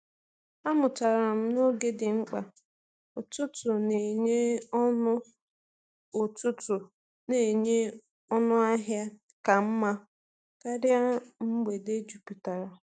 Amụtara m na oge dị mkpa; ụtụtụ na-enye ọnụ ụtụtụ na-enye ọnụ ahịa ka mma karịa mgbede jupụtara.